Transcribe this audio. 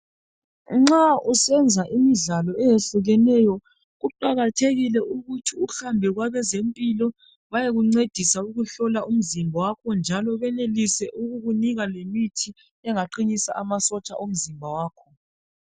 Nxa usenza imidlalo ehlukeneyo kuqakathekile ukuthi uhambe kwabezempilo bayekuncedisa ukuhlola umzimba wakho njalo benelise ukukunika lemithi engaqinisa amasotsha omzimba wakho